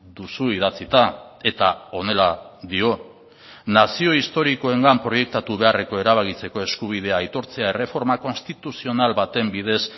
duzu idatzita eta honela dio nazio historikoengan proiektatu beharreko erabakitzeko eskubidea aitortzea erreforma konstituzional baten bidez